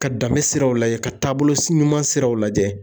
Ka danbe siraw lajɛ ka taabolo ɲuman siraw lajɛ